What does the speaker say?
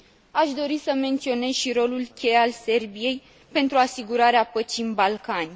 Aș dori să menționez și rolul cheie al Serbiei pentru asigurarea păcii în Balcani.